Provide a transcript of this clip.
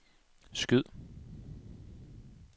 skyd